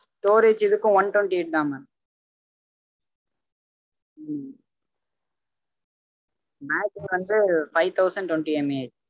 storage இதுக்கும் one twenty eight தா mam battery வந்து five thousand twentymah